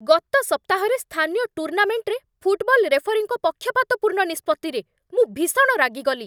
ଗତ ସପ୍ତାହରେ ସ୍ଥାନୀୟ ଟୁର୍ଣ୍ଣାମେଣ୍ଟରେ ଫୁଟବଲ୍ ରେଫରୀଙ୍କ ପକ୍ଷପାତପୂର୍ଣ୍ଣ ନିଷ୍ପତ୍ତିରେ ମୁଁ ଭୀଷଣ ରାଗିଗଲି।